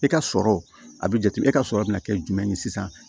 E ka sɔrɔ a bi jate e ka sɔrɔ bɛ na kɛ jumɛn ye sisan